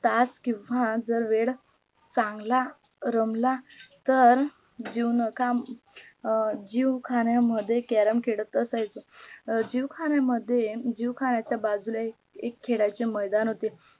तास किंव्हा जर वेळ चांगला रमला तर जीवनख्या अं जिवखान्या मध्ये क्यारम खेळत असायच जीवखान्या मध्ये जीवखाण्याच्या बाजूला एक एक खेळाचे मायदान होते